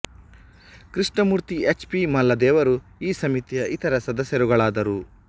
Krishnamurthy H P Malledevaru ಈ ಸಮಿತಿಯ ಇತರ ಸದಸ್ಯರುಗಳಾದರು